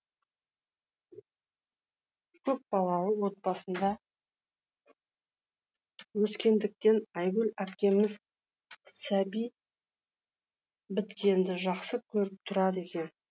көпбалалы отбасында өскендіктен айгүл әпкеміз сәби біткенді жақсы көріп тұрады екен